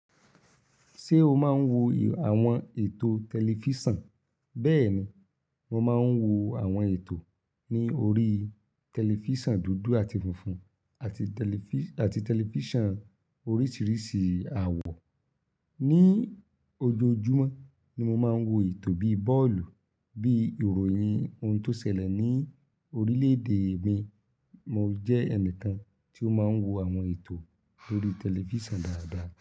Ṣé o máa ń wo àwọn ètò tẹlifísàn? Bẹ́ẹ̀ni, mo máa ń wo àwọn ètò ní orí tẹlifísàn dúdú àti funfun àti tẹlifí, àti tẹlifísàn oríṣiríṣi àwọ̀. Ni ojoojúmọ́ ni mo máa ń wo ètò bíi bọ́ọ̀lù, bíi ìròyìn ohun tó ṣẹlẹ̀ ní orílẹ̀ èdè mi. Mo jẹ́ ẹnìkan tí ó máa ń wo àwọn ètò lórí tẹlifísàn dáadáa.